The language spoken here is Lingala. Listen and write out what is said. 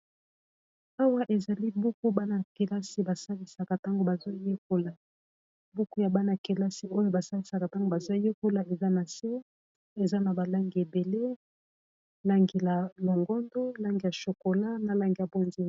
Awa ezali buku bana yakelasi ba salisaka ntango bazoyekola buku ya bana kelasi oyo ba salisaka ntango ba zoyekola eza na se eza na balangi ebele langi ya longondo, langi ya shokola, na langi ya ponzia.